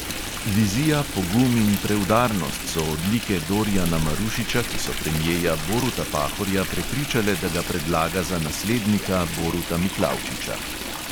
Vizija, pogum in preudarnost so odlike dorijana marušiča, ki so premjeja boruta pahorja prepričale, da ga predlaga za naslednika boruta miklavčiča.